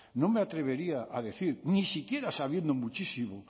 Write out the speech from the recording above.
no me atrevería a decir ni siquiera sabiendo muchísimo